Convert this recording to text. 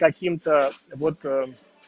таким-то вот